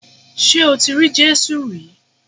Ṣé o ti rí Jésù rí